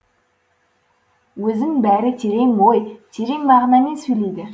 өзің бәрі терең ой терең мағынамен сөйлейді